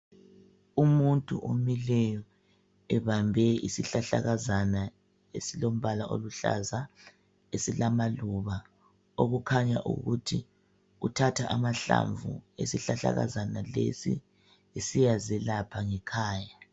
Umuntu omileyo ebambe isihlahlakazana esilombala oluhlaza eselamaluba okukhanya ukuthi uthatha amahlamvu esihlahlakazana lesi esiya zelapha ngekhaya .